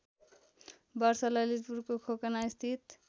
वर्ष ललितपुरको खोकनास्थित